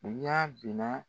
N y'a mina